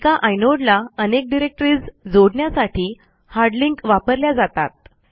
एका आयनोडला अनेक डिरेक्टरीज जोडण्यासाठी हार्ड लिंक वापरल्या जातात